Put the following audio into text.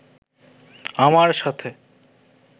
আমার সাথে